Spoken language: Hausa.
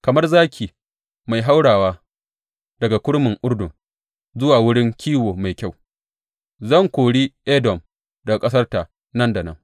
Kamar zaki mai haurawa daga kurmin Urdun zuwa wurin kiwo mai kyau, zan kori Edom daga ƙasarta nan da nan.